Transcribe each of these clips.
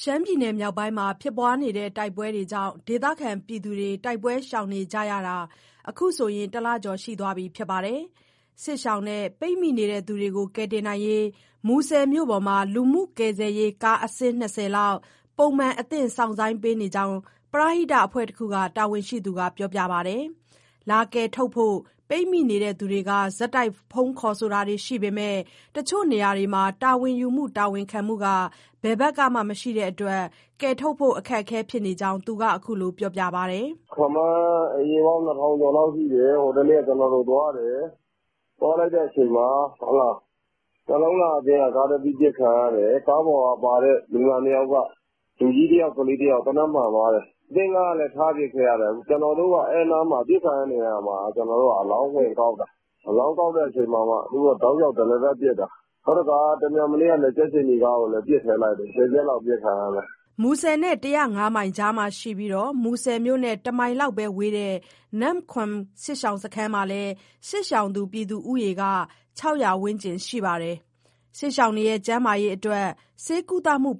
ရှမ်းပြည်နယ် မြောက်ပိုင်းမှာ ဖြစ်ပွားနေတဲ့ တိုက်ပွဲတွေကြောင့် ဒေသခံတွေ တိုက်ပွဲရှောင်နေကြတာ အခုဆိုရင် ၁ လကျော်ရှိသွားပါပြီ။ စစ်ရှောင်နဲ့ ပိတ်မိနေသူတွေကို ကယ်တင်ဖို့ မူဆယ်မြို့ပေါ်မှာ လူမှုကယ်ဆယ်ရေးကားအစီး ၂၀လောက် ပုံမှန် အသင့်စောင့်ဆိုင်းပေးနေကြောင်း ပရဟိတအဖွဲ့တခုက တာဝန်ရှိသူက ပြောပါတယ်။ လာကယ်ထုတ်ဖို့ ပိတ်မိနေသူတွေက ဆက်တိုက် ဖုန်းဆက်တာတွေရှိပေမဲ့ တချို့ နေရာတွေမှာ တာဝန်ယူမှု တာဝန်ခံမှုက ဘယ်ဘက်ကမှ မရှိတဲ့အတွက် ကယ်ထုတ်ဖို့ အခက်အခဲဖြစ်နေကြောင်း သူက အခုလို ပြောပါတယ်။ "ခန့်မှန်း အိမ်ခြေပေါင်း ၂,၀၀၀ ကျော်လောက်ရှိတယ်။ ဟိုနေ့က ကျနော်တို့သွားတယ်။ အဲဒီအချိန် နှလုံးလှအသင်းက ကားတစီးပစ်ခံရတယ်။ ကားပေါ်မှာပါတဲ့ လူနာနှစ်ယောက် လူကြီးတယောက် ကလေးတယောက် သေနတ်မှန်သွားတယ်။ အသင်းကားလည်း ထားပစ်ခဲ့ရတယ်။ ကျနော်တို့က ပစ်ခံရတဲ့နေရာမှာ အလောင်းဝင်ကောက်တာ၊ အလောင်းဝင်ကောက်ချိန် သူတို့က တရစပ်ပစ်တာ။ မနေ့ကလည်း ကြက်ခြေနီကားကို ပစ်ထည့်လိုက်တယ်၊ ဆယ်ချက်လောက် ပစ်ခံရတယ်။" မူဆယ်နဲ့ ၁၀၅ မိုင်ကြားမှာရှိပြီး မူဆယ်မြို့နဲ့ ၁ မိုင်လောက်သာ ဝေးတဲ့ နမ့်ခွမ် စစ်ရှောင်စခန်းမှာလည်း စစ်ရှောင်သူဦးရေ ၆၀၀ ဝန်းကျင်ရှိပါတယ်။ သူတို့ရဲ့ ကျန်းမာရေးအတွက် ဆေးကုသပေးဖို့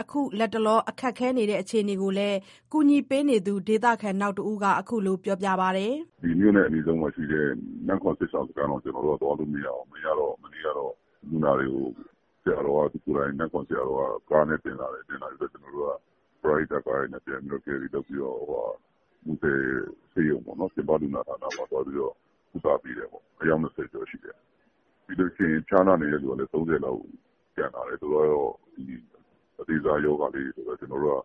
အခု လတ်တလော ခက်ခဲနေတဲ့ အခြေအနေကိုလည်း ကူညီပေးနေသူ ဒေသခံနောက်တဦးက အခုလို ပြောပါတယ်။ "မြို့နဲ့ အနီးဆုံးမှာရှိတဲ့ နမ့်ခွမ်စစ်ရှောင်စခန်းတောင် သွားလို့မရဘူး။ မရတော့ မနေ့ကတော့ လူနာတွေကို နမ့်ခွမ်ဆရာတော်က သူကိုယ်တိုင် ကားနဲ့တင်လာတယ်။ အဲဒါကို ပရဟိတကားတွေနဲ့ ပြန်သယ်ပြီးတော့ မူဆယ်ဆေးရုံ ပြင်ပလူနာဌာနမှာ ကုသပေးတာ အယောက် ၂၀ ကျော်လောက်ရှိတယ်။ ပြီးရင် ဖျားနာသူကလည်း ၃၀ လောက်ရှိတယ်။ သူတို့ကတော့ အသေးစားရောဂါလေးတွေ ဆိုတော့ ကျနော်တို့က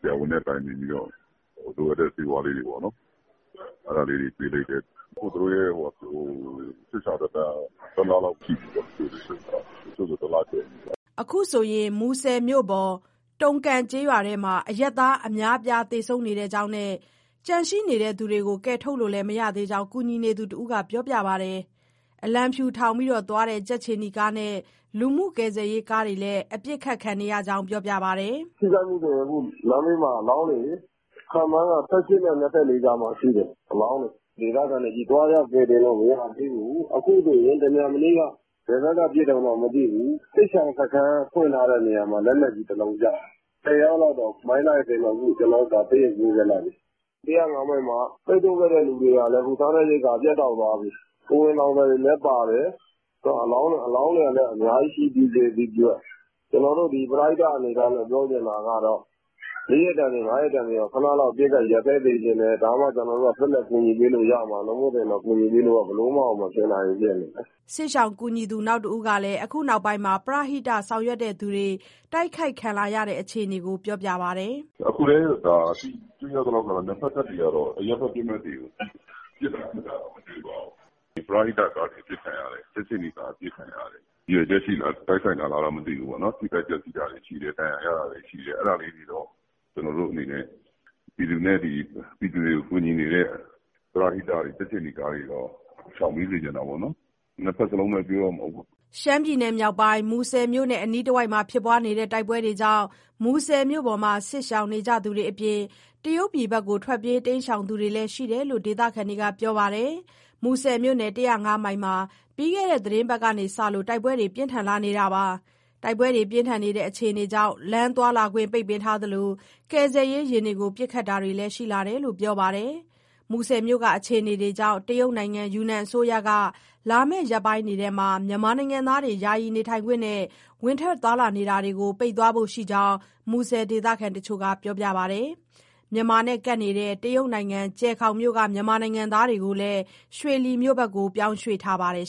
ဆရာဝန်နဲ့ တိုင်ပင်ပြီးတော့ လိုအပ်တဲ့ဆေးဝါးလေးတွေ ပေးလိုက်တယ်။ အခု သူတို့ရဲ့ စစ်ရှောင်သက်တမ်းက ၁ လရှိပြီ။ တချို့ဆိုရင်လည်း ၁ လကျော်ပြီ။" အခုဆိုရင် မူဆယ်မြို့အပေါ် တုန်ကန် ကျေးရွာထဲမှာ အရပ်အသား အများအပြား သေဆုံးနေကြောင်း၊ ကျန်ရှိ သူတွေကို ကယ်ထုတ်လို့လည်း မရသေးကြောင်း ကူညီနေသူတဦးက ပြောပါတယ်။ အလံဖြူထောင်ပြီးသွားတဲ့ ကြက်ခြေနီကားနဲ့၊ လူမှုကယ်ဆယ်ရေး ကားတွေလည်း အပစ်ခံနေရကြောင်း ပြောပါတယ်။ "ထိခိုက်မှုဆိုရင် အခုလမ်းဘေးမှာ အလောင်းတွေ ခန့်မှန်းက ၁၈ နဲ့ ၂၄ ကြားမှာရှိတယ်၊ ဒေသခံတွေချည်း။ သွားရောက်ကယ်တင်လို့ မရသေးဘူး။ တမြန်မနေ့က ဘယ်ဘက်က ပစ်မှန်းတော့မသိဘူး။ စစ်ရှောင်စခန်း ဖွင့်ထားတဲ့နေရာမှာ လက်နက်ကြီးတလုံး ကျတယ်။ ၁၀ ယောက်လောက် မိုင်းစတွေစင်တော့ ကျနော်တို့ ဆေးရုံပို့လိုက်ပြီ။ ၁၀၅ မိုင်မှာ ပိတ်ဆို့ခံရသူတွေက စားနပ်ရိက္ခာ ပြတ်တောက်သွားပြီ၊ ကိုယ်ဝန်ဆောင်တွေလည်း ပါတယ်။ အလောင်းတွေလည်း အများကြီး ရှိသည့်အတွက် ပရဟိတ အနေအထားနဲ့ ပြောချင်တာကတော့ လေးရက်တန်သည် ငါးရက်တန်သည် အပစ်အခတ် ရပ်စဲပေးစေချင်တယ်။ ဒါမှကျနော်တို့က ဆက်လက် ကူညီပေးလို့ရမှာ။ နောက်ဆို ဘယ်လိုမှမဖြစ်နိုင်ဘူး။" စစ်ရှောင်ကူညီသူ နောက်တဦးကလည်း အခုနောက်ပိုင်းမှာ ပရဟိတဆောင်ရွက်သူတွေ တိုက်ခိုက်ခံလာရတဲ့ အခြေအနေကို ပြောပါတယ်။ "အခုလည်း ဒါတွေ့ရသလောက်ကတော့ နှစ်ဘက်တပ်တွေကတော့ အရပ်ဘက်ပစ်မှတ်တွေကို ပစ်တာခတ်တာတော့ မတွေ့ပါဘူး။ ဒါပေမဲ့ ပရဟိတကားတွေ၊ ကြက်ခြေနီကားတွေ အပစ်ခံရတယ်။ ဒါ ရည်ရွယ်ချက်ရှိရှိနဲ့ တိုက်ခိုက်တာလားတော့ မသိဘူးပေါ့နော်။ ထိခိုက်ပျက်စီးတာတွေ ရှိတယ်။ ဒဏ်ရာရတာတွေ ရှိတယ်။ အဲဒါလေးတွေတော့ ကျနော်တို့အနေနဲ့ ပြည်သူတွေကို ကူညီနေတဲ့ ပရဟိတတွေ၊ ကြက်ခြေနီကားတွေတော့ ရှောင်ပေးစေချင်တာပေါ့နော်။ နှစ်ဘက်လုံးကို ပြောချင်တာပေါ့။ ရှမ်းပြည်နယ်မြောက်ပိုင်း၊ မူဆယ်မြို့နဲ့ အနီးတဝိုက်မှာ ဖြစ်ပွားနေတဲ့ တိုက်ပွဲတွေကြောင့် မူဆယ်မြို့ပေါ်မှာ စစ်ရှောင်နေကြသူတွေအပြင် တရုတ်ပြည်ဘက် ထွက်ပြေးတိမ်းရှောင်နေသူတွေလည်း ရှိတယ်လို့ ဒေသခံတွေက ပြောပါတယ်။ မူဆယ်မြို့နယ် ၁၀၅ မိုင်မှာ ပြီးခဲ့တဲ့ သီတင်းပတ်ကစပြီး တိုက်ပွဲတွေ ပြင်းထန်လာတာပါ။ တိုက်ပွဲအခြေအနေတွေကြောင့် လမ်းသွားလာခွင့် ပိတ်ပင်ထားတာရှိသလို၊ ကယ်ဆယ်ရေးယာဥ်တွေကို ပစ်ခတ်တာတွေလည်း ရှိလာတယ်လို့ ပြောပါတယ်။ မူဆယ်မြို့က အခြေအနတွေကြောင့် တရုတ်နိုင်ငံ၊ ယူနန်အစိုးရက လာမဲ့ရက်ပိုင်းထဲမှာ မြန်မာနိုင်ငံသားတွေ ယာယီနေထိုင်ခွင့်နဲ့ ဝင်ထွက်နေတာကို ပိတ်သွားဖို့ရှိကြောင်း မူဆယ်ဒေသခံတချို့က ပြောပါတယ်။ မြန်မာနဲ့ကပ်နေတဲ့ တရုတ်နိုင်ငံ၊ ကျယ်ခေါင်မြို့က မြန်မာနိုင်ငံသားတွေကိုလည်း ရွှေလီမြို့ကို ပြောင်းရွှေ့ထားပါတယ်